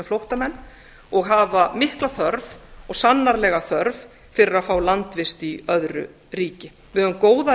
flóttamenn og hafa mikla þörf og sannarlega þörf fyrir að fá landvist í öðru ríki við höfum góða